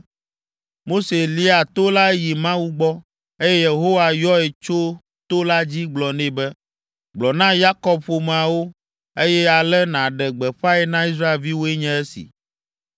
Mose lia to la yi Mawu gbɔ, eye Yehowa yɔe tso to la dzi gblɔ nɛ be, “Gblɔ na Yakob ƒomeawo, eye ale nàɖe gbeƒãe na Israelviwoe nye esi,